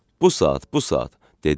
Bu saat, bu saat, dedi.